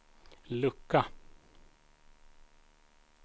lucka